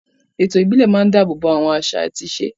Ètò ìbílẹ̀ máa ń dáàbò bo àwọn àṣà àti ìṣe.